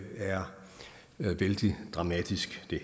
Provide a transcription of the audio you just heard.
er vældig dramatisk det